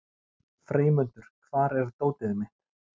Freymundur, hvar er dótið mitt?